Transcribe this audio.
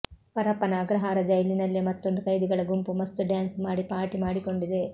ಪರಪ್ಪನ ಅಗ್ರಹಾರ ಜೈಲಿನಲ್ಲೇ ಮತ್ತೊಂದು ಕೈದಿಗಳ ಗುಂಪು ಮಸ್ತ್ ಡ್ಯಾನ್ಸ್ ಮಾಡಿ ಪಾರ್ಟಿ ಮಾಡಿಕೊಂಡಿದೆ